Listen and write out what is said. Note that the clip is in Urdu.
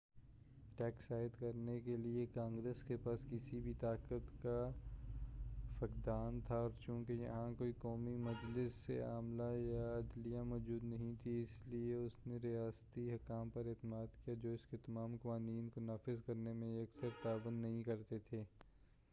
ٹیکس عائد کرنے کے لئے کانگریس کے پاس کسی بھی طاقت کا فقدان تھا اور چونکہ یہاں کوئی قومی مجلس عاملہ یا عدلیہ موجود نہیں تھی اس لئے اس نے ریاستی حکام پر اعتماد کیا جو اس کے تمام قوانین کو نافذ کرنے میں اکثر تعاون نہیں کرتے تھے